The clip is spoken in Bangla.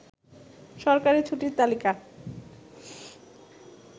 সরকারি ছুটির তালিকা